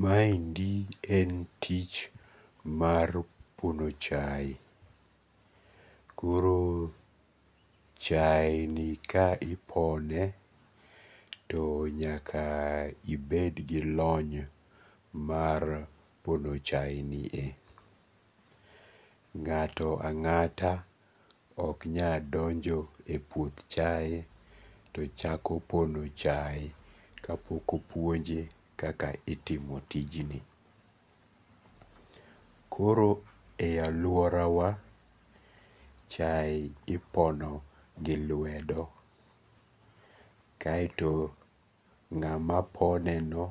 Maendi en tich mar pono chaye koro, chaeni ka ipone to nyaka ibed gi lony mar pono chaye, nga'to anga'ta ok nyak donjo e puoth chaye to chako pono chaye ka pok opuonje kaka itimo tijni , koro e aluorawa chaye ipono gi lwedo, kaeto nga'ma pone be